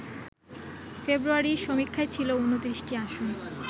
ফেব্রুয়ারির সমীক্ষায় ছিল ২৯টি আসন